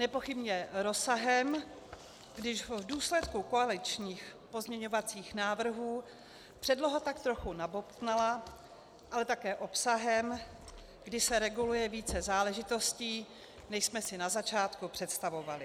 Nepochybně rozsahem, když v důsledku koaličních pozměňovacích návrhů předloha tak trochu nabobtnala, ale také obsahem, kdy se reguluje více záležitostí, než jsme si na začátku představovali.